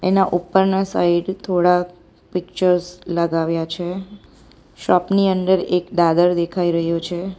એના ઉપરના સાઈડ થોડા પિક્ચર્સ લગાવ્યા છે શોપ ની અંદર એક દાદર દેખાઈ રહ્યો છે.